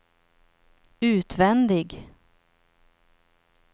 utvändig